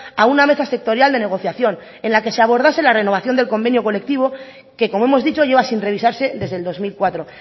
a una mesa sectorial de negociación en la que se abordase la renovación del convenio colectivo que como hemos dicho lleva sin revisarse desde el dos mil cuatro